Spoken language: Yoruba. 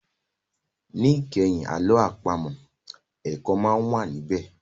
Ní ìkẹyìn àlọ́ àpamọ̀, ẹ̀kọ́ máa ń wà ní bẹ̀